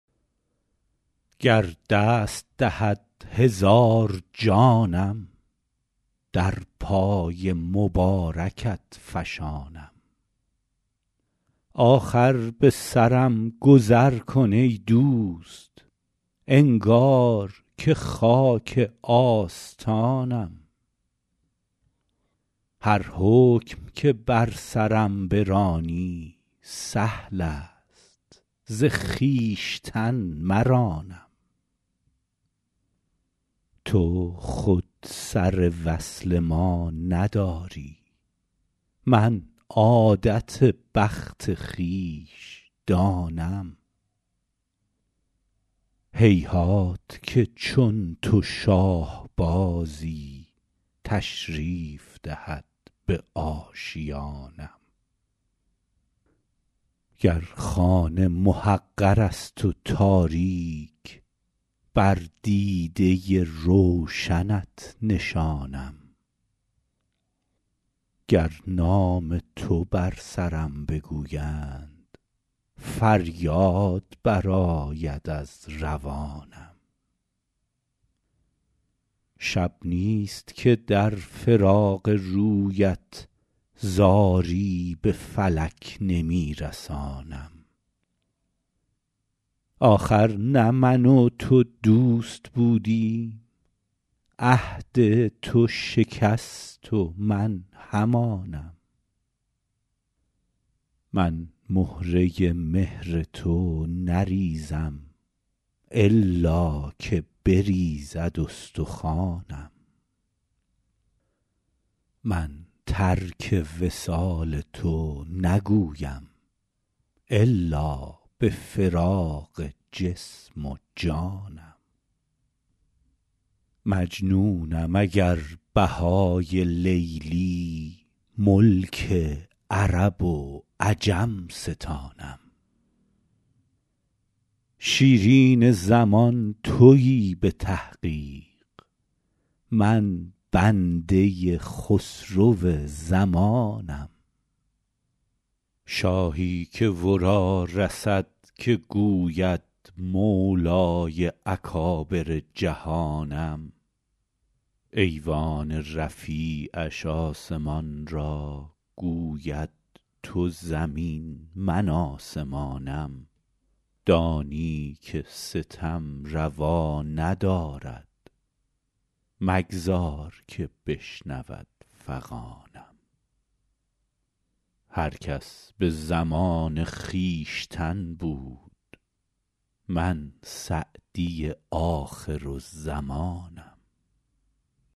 گر دست دهد هزار جانم در پای مبارکت فشانم آخر به سرم گذر کن ای دوست انگار که خاک آستانم هر حکم که بر سرم برانی سهل است ز خویشتن مرانم تو خود سر وصل ما نداری من عادت بخت خویش دانم هیهات که چون تو شاه بازی تشریف دهد به آشیانم گر خانه محقر است و تاریک بر دیده روشنت نشانم گر نام تو بر سرم بگویند فریاد برآید از روانم شب نیست که در فراق رویت زاری به فلک نمی رسانم آخر نه من و تو دوست بودیم عهد تو شکست و من همانم من مهره مهر تو نریزم الا که بریزد استخوانم من ترک وصال تو نگویم الا به فراق جسم و جانم مجنونم اگر بهای لیلی ملک عرب و عجم ستانم شیرین زمان تویی به تحقیق من بنده خسرو زمانم شاهی که ورا رسد که گوید مولای اکابر جهانم ایوان رفیعش آسمان را گوید تو زمین من آسمانم دانی که ستم روا ندارد مگذار که بشنود فغانم هر کس به زمان خویشتن بود من سعدی آخرالزمانم